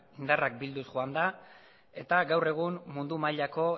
indarrak bilduz joan da eta gaur egun mundu mailako